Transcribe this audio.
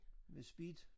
Med Speed?